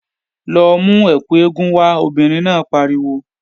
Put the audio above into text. Lọ mú ẹkù eégún wá, obìnrin náà pariwo!